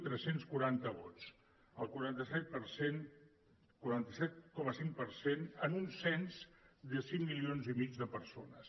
tres cents i quaranta vots el quaranta set coma cinc per cent en un cens de cinc milions i mig de persones